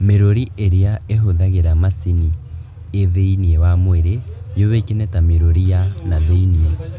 Mĩrũri ĩrĩa ĩhũthagĩra macini ĩ thĩiniĩ wa mwĩrĩ yũĩkaine ta mĩrũri ya na thĩiniĩ